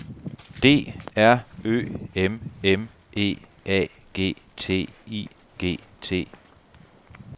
D R Ø M M E A G T I G T